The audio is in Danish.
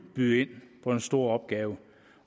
byde ind på en stor opgave